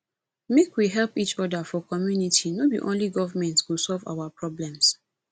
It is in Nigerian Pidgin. make we help each other for community no be only government go solve our problems